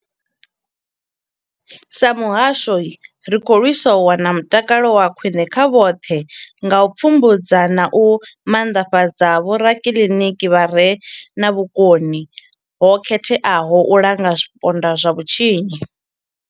Sa muhasho, ri khou lwisa u wana mutakalo wa khwine kha vhoṱhe nga u pfumbudza na u maanḓafhadza vhorakiliniki vha re na vhukoni ho khetheaho u langa zwipondwa zwa vhutshinyi.